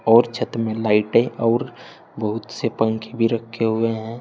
और छत में लाइटे और बहुत से पंखे भी रखे हुए हैं।